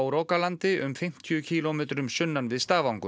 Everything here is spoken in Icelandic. rogalandi um fimmtíu kílómetrum sunnan við